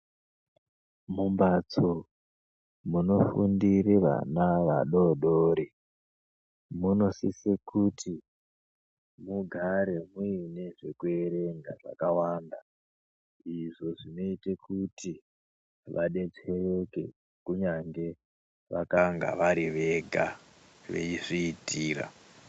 Mumbatso munofundira vana vadodori munosisa kuti mugare muine zvekuerenga zvakawanda izvo zvinoita kuti vadetsereke kunyange vakanga varivega veizviitira.